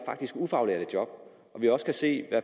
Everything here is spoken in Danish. ufaglærte job og vi også kan se